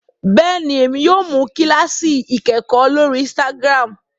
béèni, Èmi yóò mú kilasi ikẹkọ lórí instagram